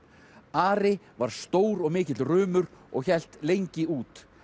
Ari var stór og mikill og hélt lengi út